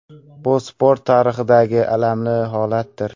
Bu sport tarixidagi alamli holatdir.